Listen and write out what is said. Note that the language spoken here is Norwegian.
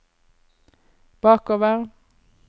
bakover